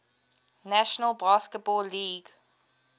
national basketball league